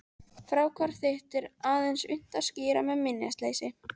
Fráhvarf þitt er aðeins unnt að skýra með minnisleysi.